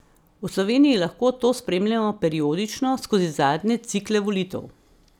V Sloveniji lahko to spremljamo periodično, skozi zadnje cikle volitev.